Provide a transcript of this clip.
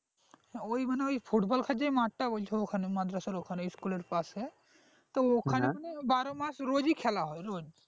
মানে ওই মানে football খেলা যে মাঠ টা বলছো ওখানে মাদ্রাসার ওখানে school র পাশে তো ওখানে মানে বারো মাস রোজই খেলা হয় রোজ